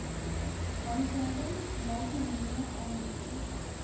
handleidings multimedia aanbiedings